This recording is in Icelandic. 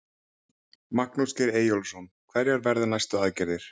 Magnús Geir Eyjólfsson: Hverjar verða næstu aðgerðir?